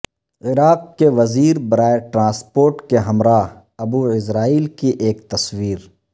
عراق کے وزیر برائے ٹرانسپورٹ کے ہمراہ ابو عزرائیل کی ایک تصویر